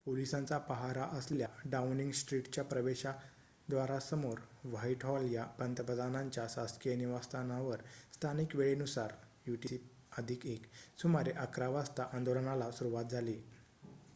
पोलिसांचा पाहारा असलेल्या डाउनिंग स्ट्रिटच्या प्रवेशद्वारासमोर व्हाइटहॉल या पंतप्रधानांच्या शासकिय निवासस्थानावर स्थानिक वेळेनुसार utc+१ सुमारे ११ः०० वाजता आंदोलनाला सुरुवात झाली